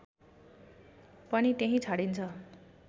पनि त्यहीँ छाडिन्छ